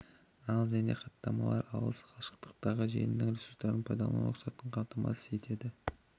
ал және хаттамалары алыс қашықтықтағы желінің ресурстарын пайдалану рұқсатын қамтамасыз етеді